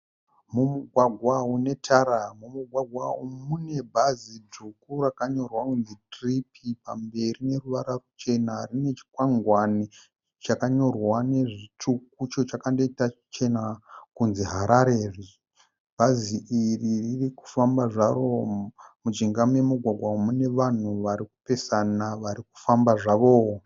Mumugwagwa une tara, mumugwagwa umu mune bhazi dzvuku rakanyorwa kunzi 'Trip' pamberi neruvara ruchena. Rine chikwangwani chakanyorwa nezvitsvuku icho chakandoita chichena kunzi 'HARARE'. Bhazi iri riri kufamba zvaro, mujinga memugwagwa umu mune vanhu vari kupesana vari kufamba zvavo.